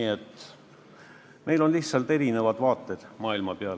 Nii et meil on lihtsalt erinevad vaated maailmale.